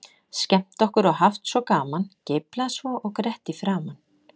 Skemmt okkur og haft svo gaman, geiflað svo og grett í framan.